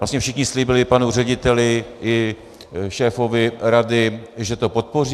Vlastně všichni slíbili panu řediteli i šéfovi rady, že to podpoří.